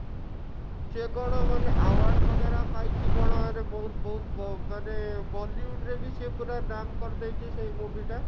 ସେ କଣ ମାନେ award वगेरा ପାଇଛି କଣ ରେ ବହୁତ ବହୁତ ମାନେ bollywood ରେ ବି ସେ ପୁରା ନାମ୍ କରିଦେଇଛି ସେ movie ଟା